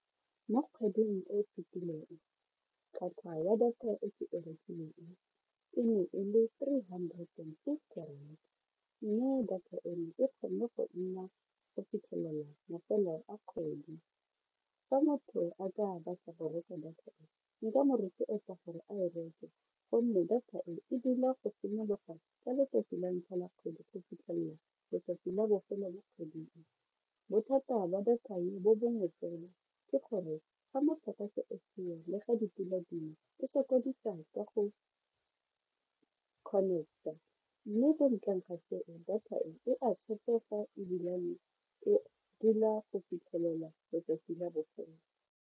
Mo kgweding e fetileng tlhwatlhwa ya data e ke e rekileng e ne e le three hundred and fifty rand mme data eno e kgonne go nna go fitlhelela mafelo a kgwedi. Fa motho a batla go reka data e nka mo rotloetsa gore a e reke gonne data e, e dula go simologa ka letsatsi la ntlha la kgwedi go fitlhelela letsatsi la bofelo la kgwedi e. Bothata ba data e bo bongwe fela, ke gore fa motlakase o seo le ga dipula di na e sokodisa ka go connect-a mme ko ntleng ga seo data e a tshepega ebilane e dula go fitlhelela letsatsi la botshelo.